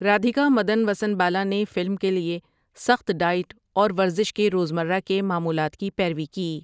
رادھیکا مدن وسن بالا نے فلم کے لیے سخت ڈائٹ اور ورزش کے روزمرہ کے معمولات کی پیروی کی۔